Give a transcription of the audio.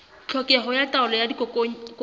tlhokeho ya taolo ya dikokwanyana